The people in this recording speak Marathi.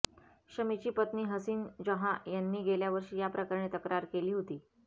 शमीची पत्नी हसिन जहाँ यांनी गेल्यावर्षी याप्रकरणी तक्रार केली होती